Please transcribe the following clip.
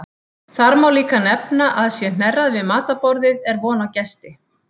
Þá má líka nefna að sé hnerrað við matarborðið er von á gesti.